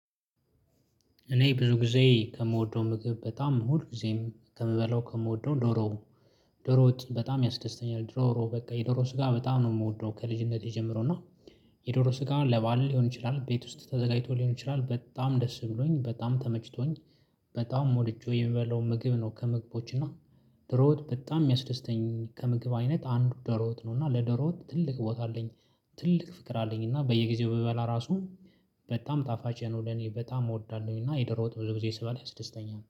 እኔ ብዙ ጊዜ ከምወደው ምግብ በጣም ሁል ጊዜም ከምበላው ከምወደው ዶሮ ዶሮ ወጥ በጣም ያስደስተኛል። ዶሮ በቃ የዶሮ ስጋ በጣም ነው የምወደው ከልጅነቴ ጀምሮ እና። የዶሮ ስጋ ለበአል ሊሆን ይችላል ቤት ውስጥ ተዘጋጅቶ ሊሆን ይችላል በጣም ደስ ብሎኝ በጣም ተመችቶኝ። በጣም ወድጄው የምበላው ምግብ ነው። ከምግቦች እና ደሮወጥ በጣም የሚያስደስተኝ ከምግብ አይነት አንዱ ደሮወጥ ነው። እና ለደሮወጥ ትልቅ ቦታ አለኝ። ትልቅ ፍቅር አለኝ እና በየጊዜው ብበላ ራሱ በጣም ጣፋጭ ነው። ለኔ በጣም እወዳለሁኝ እና የደሮ ወጥ ብዙ ጊዜ ስበላ ያስደስተል